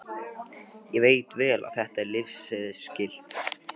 Ég veit vel að þetta er lyfseðilsskylt.